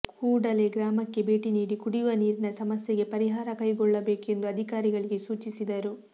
ಕೂಡಲೇ ಗ್ರಾಮಕ್ಕೆ ಭೇಟಿ ನೀಡಿ ಕುಡಿಯುವ ನೀರಿನ ಸಮಸ್ಯೆಗೆ ಪರಿಹಾರ ಕೈಗೊಳ್ಳಬೇಕು ಎಂದು ಅಧಿಕಾರಿಗಳಿಗೆ ಸೂಚಿಸಿದರು